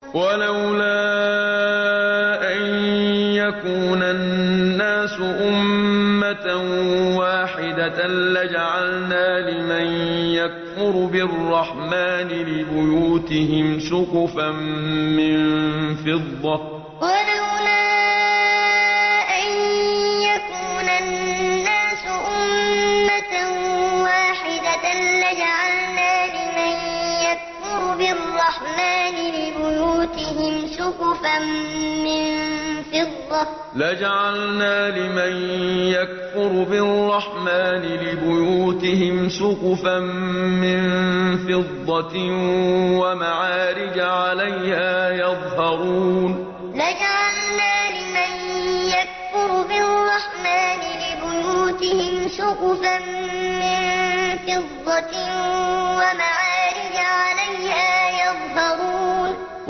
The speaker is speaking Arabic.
وَلَوْلَا أَن يَكُونَ النَّاسُ أُمَّةً وَاحِدَةً لَّجَعَلْنَا لِمَن يَكْفُرُ بِالرَّحْمَٰنِ لِبُيُوتِهِمْ سُقُفًا مِّن فِضَّةٍ وَمَعَارِجَ عَلَيْهَا يَظْهَرُونَ وَلَوْلَا أَن يَكُونَ النَّاسُ أُمَّةً وَاحِدَةً لَّجَعَلْنَا لِمَن يَكْفُرُ بِالرَّحْمَٰنِ لِبُيُوتِهِمْ سُقُفًا مِّن فِضَّةٍ وَمَعَارِجَ عَلَيْهَا يَظْهَرُونَ